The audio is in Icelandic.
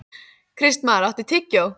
Kristmar, áttu tyggjó?